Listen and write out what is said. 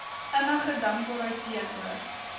innige dankbaarheid teenoor